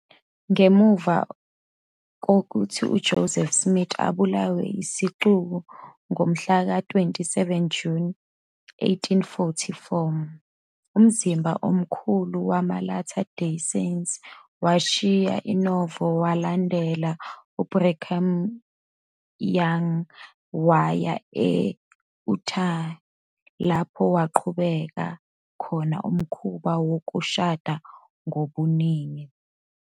Ngemuva kokuthi uJoseph Smith abulawe yisixuku ngomhla ka-27 Juni 1844, umzimba omkhulu wamaLatter Day Saints washiya iNauvoo walandela uBrigham Young waya e-Utah lapho kwaqhubeka khona umkhuba wokushada ngobuningi.